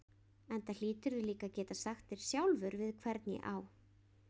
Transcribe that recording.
Enda hlýturðu líka að geta sagt þér sjálfur við hvern ég á.